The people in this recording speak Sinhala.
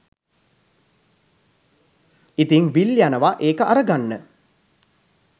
ඉතිං විල් යනවා ඒක අරගන්න.